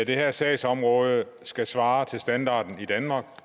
det her sagsområde skal svare til standarden i danmark